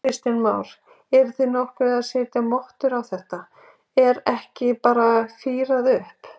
Kristján Már: Eruð þið nokkuð að setja mottur á þetta, er ekki bara fírað upp?